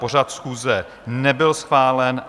Pořad schůze nebyl schválen.